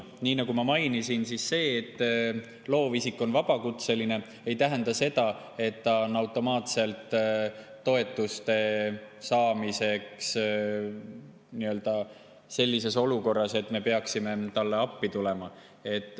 Nii nagu ma mainisin, see, et loovisik on vabakutseline, ei tähenda seda, et ta on toetuste saamise mõttes automaatselt sellises olukorras, et me peaksime talle appi minema.